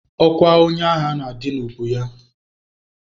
Ọkwa onye agha na-adị n'ubu ya.